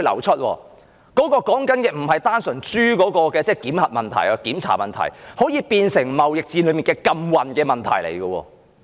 這裏說的並非單純是豬的檢核問題，而是可以變成貿易戰的禁運問題。